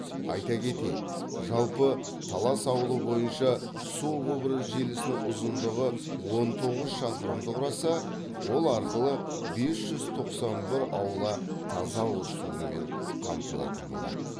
айта кетейік жалпы талас ауылы бойынша су құбыры желісінің ұзындығы он тоғыз шақырымды құраса ол арқылы бес жүз тоқсан бір аула таза ауыз сумен қамтылатын болады